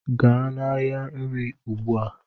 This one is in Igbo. gaa n'ahịa nri ugbua